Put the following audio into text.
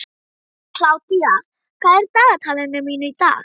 Kládía, hvað er í dagatalinu mínu í dag?